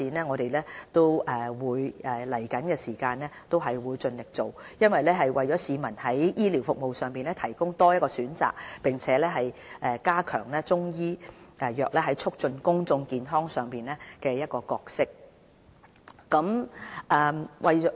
我們在將來會盡力推動中醫藥的發展，在醫療服務上為市民提供多一個選擇，並加強中醫藥在促進公眾健康方面的角色。